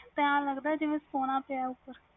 ਇਸ ਤਰਾਂ ਲੱਗਦਾ ਜਿਵੇ ਸੋਨਾ ਪੀਆਂ ਉਪਰ